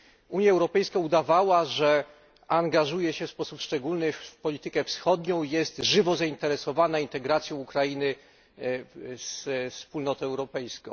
Unia Europejska udawała, że angażuje się w sposób szczególny w politykę wschodnią i jest żywo zainteresowana integracją Ukrainy ze Wspólnotą Europejską.